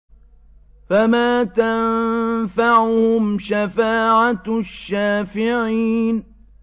فَمَا تَنفَعُهُمْ شَفَاعَةُ الشَّافِعِينَ